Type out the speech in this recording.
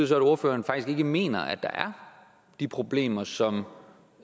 så at ordføreren faktisk ikke mener at der er de problemer som